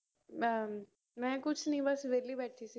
ਮੈ ਕੁਝ ਨਹੀਂ ਬਸ ਵੇਹਲੀ ਬੈਠੀ ਸੀ